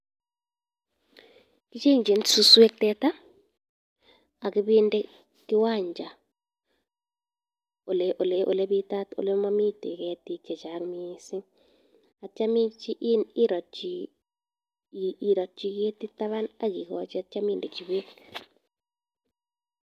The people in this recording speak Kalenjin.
Kecheng'in suswek teta ak ibende kiwanja ole bitat ole momiten ketik chechang mising. Ak kityo irotyi ketit taban, ak igochi beek.